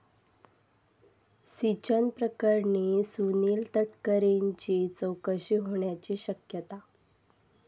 सिंचन प्रकरणी सुनिल तटकरेंची चौकशी होण्याची शक्यता